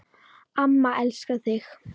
Amma elskar þig